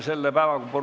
Ruuben Kaalep, palun!